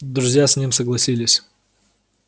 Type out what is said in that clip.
друзья с ним согласились